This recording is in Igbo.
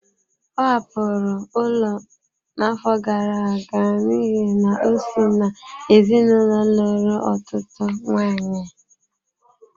Ọ hapụrụ ụlọ n'afọ gara aga n'ihi na o si n'ezinụlọ lụrụ ọtụtụ nwaanyị.